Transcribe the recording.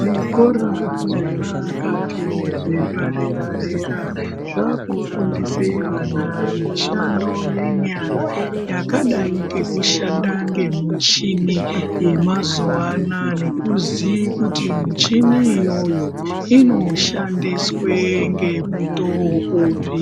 Zvikora zvepakati nezvepadera-dera zvakufundise vana mishando yenyara yakadai ngekushanda ngemuchini yemazuva anaya. Nekuziye kuti michini iyoyo inoshandiswe nemutoo upi